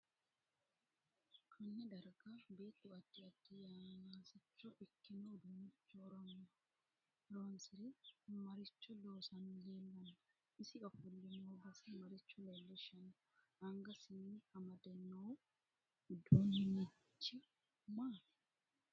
Konne darga beetu addi addi yanaasicho ikkino uduunicho horoonsire maricho loosani leelanno isi ofolle noo base maricho leelishanno angasinni amade noo uduunixhi maati